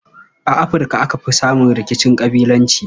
A Afirka aka fi samun rikicin ƙabilanci.